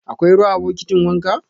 Akwai ruwa a bokitin wanka?